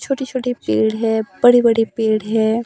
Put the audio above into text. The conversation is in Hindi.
छोटे-छोटे पेड़ हैं बड़े-बड़े पेड़ हैं।